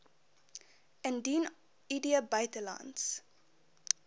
indien id buitelands